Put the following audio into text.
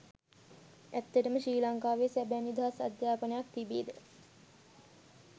ඇත්තටම ශ්‍රී ලංකාවේ සැබෑ නිදහස් අධ්‍යාපනයක් තිබේද?